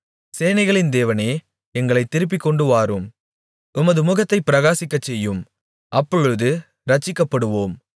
சேனைகளின் தேவனே எங்களைத் திருப்பிக்கொண்டுவாரும் உமது முகத்தைப் பிரகாசிக்கச்செய்யும் அப்பொழுது இரட்சிக்கப்படுவோம்